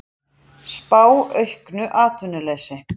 Spá auknu atvinnuleysi